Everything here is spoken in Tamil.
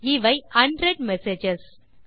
இவை அன்ரெட் மெசேஜஸ்